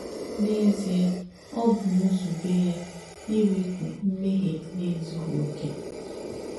N’ézíē, ọ̀ bù nzùbé yà ìwèpù mmèhìē nà èzùghì òkè.